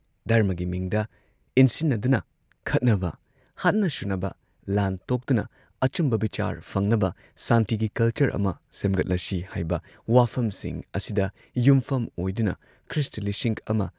ꯙꯔꯃꯒꯤ ꯃꯤꯡꯗ ꯢꯟꯁꯤꯟꯅꯗꯨꯅ ꯈꯠꯅꯕ, ꯍꯥꯠꯅ ꯁꯨꯅꯕ, ꯂꯥꯟ ꯇꯣꯛꯇꯨꯅ ꯑꯆꯨꯝꯕ ꯕꯤꯆꯥꯔ ꯐꯪꯅꯕ ꯁꯥꯟꯇꯤꯒꯤ ꯀꯜꯆꯔ ꯑꯃ ꯁꯦꯝꯒꯠꯂꯁꯤ" ꯍꯥꯏꯕ ꯋꯥꯐꯝꯁꯤꯡ ꯑꯁꯤꯗ ꯌꯨꯝꯐꯝ ꯑꯣꯏꯗꯨꯅ ꯈ꯭ꯔꯤꯁꯇ ꯂꯤꯁꯤꯡ ꯑꯃ